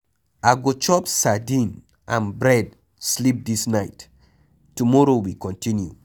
I go chop sadin and bread sleep dis night, tomorrow we continue.